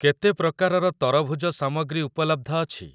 କେତେ ପ୍ରକାରର ତରଭୁଜ ସାମଗ୍ରୀ ଉପଲବ୍ଧ ଅଛି?